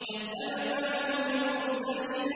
كَذَّبَتْ عَادٌ الْمُرْسَلِينَ